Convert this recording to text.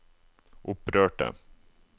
opprørte